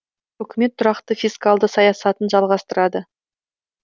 үкімет тұрақты фискалды саясатын жалғастырады